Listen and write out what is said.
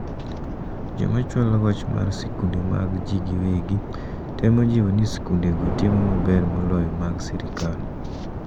Jomachwalo wach mar sikunde mag ji giwegi temo jiwo ni sikunde go timo maber moloyo mag sirikal.